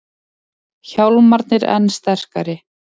Hjálmarnir enn sterkari